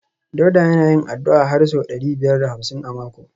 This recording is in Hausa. Dauda yana yin addu’a har sau ɗari biyar da hamsin a mako